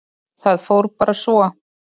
Það fór bara svo.